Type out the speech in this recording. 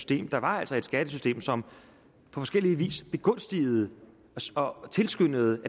det var altså et skattesystem som på forskellig vis begunstigede og tilskyndede